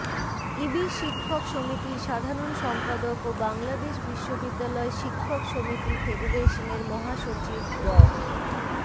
ইবি শিক্ষক সমিতির সাধারণ সম্পাদক ও বাংলাদেশ বিশ্ববিদ্যালয় শিক্ষক সমিতি ফেডারেশনের মহাসচিব ড